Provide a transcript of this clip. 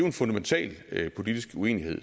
en fundamental politisk uenighed